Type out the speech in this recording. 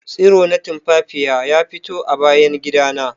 Tsiro na tumfafiya ya fito a bayan gida na